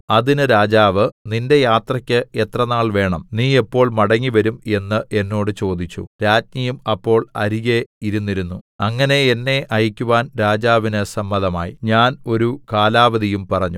അതിന് രാജാവ് നിന്റെ യാത്രക്ക് എത്ര നാൾ വേണം നീ എപ്പോൾ മടങ്ങിവരും എന്ന് എന്നോട് ചോദിച്ചു രാജ്ഞിയും അപ്പോൾ അരികെ ഇരുന്നിരുന്നു അങ്ങനെ എന്നെ അയക്കുവാൻ രാജാവിന് സമ്മതമായി ഞാൻ ഒരു കാലാവധിയും പറഞ്ഞു